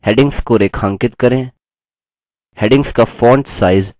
उनको प्रमाणपत्र भी देते हैं जो online test pass करते हैं